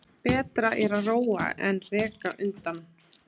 Betra er að róa en reka undan.